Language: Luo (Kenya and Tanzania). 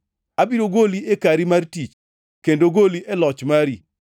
Abiro goli e kari mar tich kendo goli e loch mari.